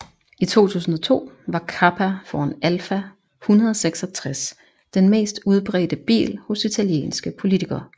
I 2002 var Kappa foran Alfa 166 den mest udbredte bil hos italienske politikere